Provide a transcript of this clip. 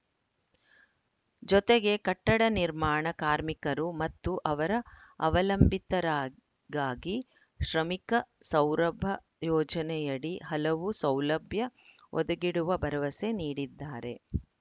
ಜೊತೆಗೆ ಕಟ್ಟಡ ನಿರ್ಮಾಣ ಕಾರ್ಮಿಕರು ಮತ್ತು ಅವರ ಅವಲಂಬಿತರಗಾಗಿ ಶ್ರಮಿಕ ಸೌರಭ ಯೋಜನೆಯಡಿ ಹಲವು ಸೌಲಭ್ಯ ಒದಗಿಡುವ ಭರವಸೆ ನೀಡಿದ್ದಾರೆ